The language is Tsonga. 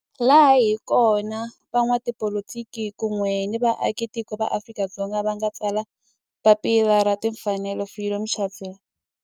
Laha hi kona la van'watipolitiki kun'we ni vaaka tiko va Afrika-Dzonga va nga tsala papila ra timfanelo Freedom Charter.